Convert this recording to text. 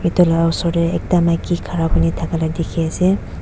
itula osor tey ekta maiki khara kurna thaka la dikhi ase.